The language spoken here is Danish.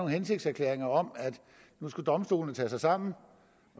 hensigtserklæringer om at nu skulle domstolene tage sig sammen og